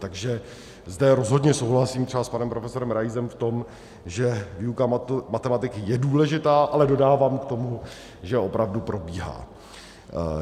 Takže zde rozhodně souhlasím třeba s panem profesorem Raisem v tom, že výuka matematiky je důležitá, ale dodávám k tomu, že opravdu probíhá.